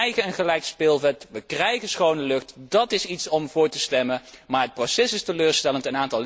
We krijgen een gelijk speelveld, we krijgen schone lucht, dat is iets om voor te stemmen, maar het proces is teleurstellend.